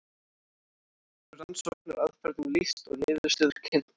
hér verður rannsóknaraðferðum lýst og niðurstöður kynntar